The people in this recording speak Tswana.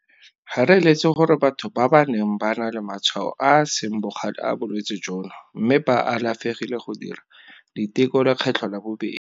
Ga re eletse gore batho ba ba neng ba na le matshwao a a seng bogale a bolwetse jono mme ba alafegile go dira diteko lekgetlho la bobedi.